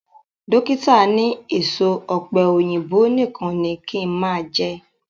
Dókítà ni èso ọ̀pẹ̀yìnbo nìkan ni kí n máa jẹ